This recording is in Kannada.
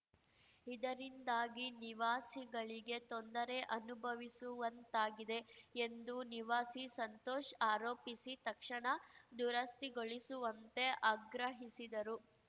ಇದರಿಂದಾಗಿ ನಿವಾಸಿಗಳಿಗೆ ತೊಂದರೆ ಅನುಭವಿಸುವಂತಾಗಿದೆ ಎಂದು ನಿವಾಸಿ ಸಂತೋಷ್‌ ಆರೋಪಿಸಿ ತಕ್ಷಣ ದುರಸ್ತಿಗೊಳಿಸುವಂತೆ ಆಗ್ರಹಿಸಿದರು